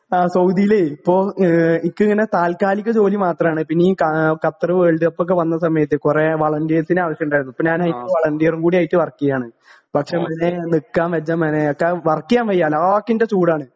ആ സൗദീലേ ഇപ്പോ ഏ ഇൻക്കിങ്ങനെ താൽക്കാലിക ജോലി മാത്രാണ് പിന്നീ കാ ഖത്തറ് വേൾഡ് കപ്പൊക്കെ വന്ന സമയത്തെ കൊറേ വോളന്റീർസിനെ ആവശ്യണ്ടായിരുന്നു ഇപ്പൊ ഞാനയ്ക്ക് വളണ്ടീറും കൂടിയായിട്ട് വർക്കീയാണ് പക്ഷെ മനേ നിക്കാൻ വജ്ജ മനേ കാരണം വർക്കീയാൻ വയ്യ അലാക്കിന്റെ ചൂടാണ്.